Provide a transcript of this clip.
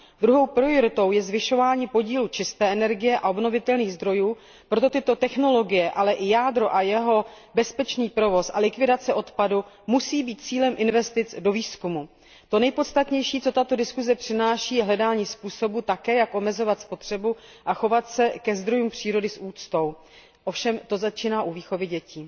Druhou prioritou je zvyšování podílu čisté energie a obnovitelných zdrojů, proto tyto technologie, ale i jádro a jeho bezpečný provoz a likvidace odpadu musí být cílem investic do výzkumu. To nejpodstatnější, co tato diskuse přináší, je také hledání způsobu, jak omezovat spotřebu a chovat se ke zdrojům přírody s úctou. Ovšem to začíná u výchovy dětí.